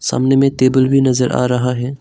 सामने में टेबल भी नजर आ रहा है।